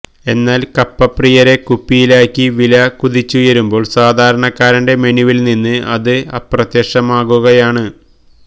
എന്നാൽ കപ്പപ്രിയരെ കുപ്പിയിലാക്കി വില കുതിച്ചുയരുമ്പോൾ സാധാരണക്കാരന്റെ മെനുവിൽനിന്ന് ഇത് അപ്രത്യക്ഷമാകുകയാണ്